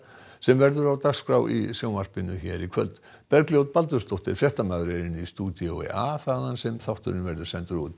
sem verður á dagskrá sjónvarpsins í kvöld Bergljót Baldursdóttir fréttamaður er í stúdíói a þaðan sem þátturinn verður sendur út